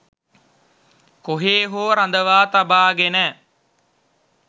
කොහේ හෝ රඳවා තබාගෙන